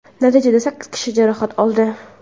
Natijada sakkiz kishi jarohat oldi.